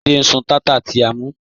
Jídẹ̀ ń sún tátà ti à mú.